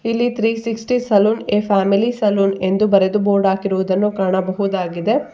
ಇಲ್ಲಿ three sixty salon a family salon ಎಂದು ಬರೆದು ಬೋರ್ಡ್ ಹಾಕಿರುವುದನ್ನು ಕಾಣಬಹುದಾಗಿದೆ.